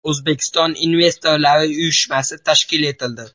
O‘zbekiston investorlar uyushmasi tashkil etildi.